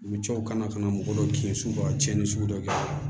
U bɛ co kana ka na mɔgɔ dɔw kin suga cɛnni sugu dɔ kɛ